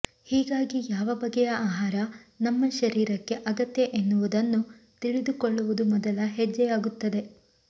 ಹೀಗಾಗಿ ಯಾವ ಬಗೆಯ ಆಹಾರ ನಮ್ಮ ಶರೀರಕ್ಕೆ ಅಗತ್ಯ ಎನ್ನುವುದನ್ನು ತಿಳಿದುಕೊಳ್ಳುವುದು ಮೊದಲ ಹೆಜ್ಜೆಯಾಗುತ್ತದೆ